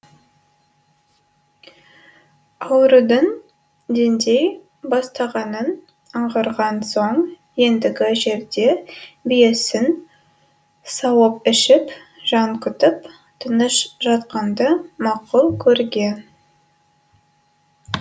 аурудың деңдей бастағанын аңғарған соң ендігі жерде биесін сауып ішіп жан күтіп тыныш жатқанды мақұл көрген